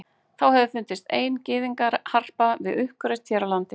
þá hefur fundist ein gyðingaharpa við uppgröft hér á landi